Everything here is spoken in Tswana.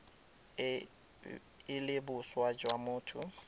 e le boswa jwa motho